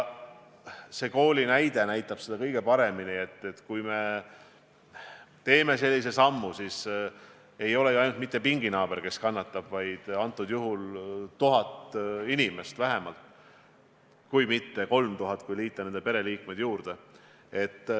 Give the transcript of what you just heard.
See kooli näide näitab kõige paremini, et kui me teeme vale sammu, siis ei kannata mitte ainult nakatunud õpilase pinginaaber, vaid konkreetsel juhul 1000 inimest vähemalt, kui mitte 3000, kui liita nende pereliikmed juurde.